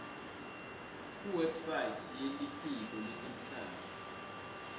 kuwebsite yelitiko letemhlaba